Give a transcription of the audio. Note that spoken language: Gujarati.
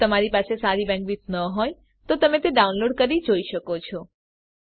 જો તમારી બેન્ડવિડ્થ સારી ન હોય તો તમે ડાઉનલોડ કરી તે જોઈ શકો છો